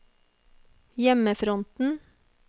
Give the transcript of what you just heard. hjemmefronten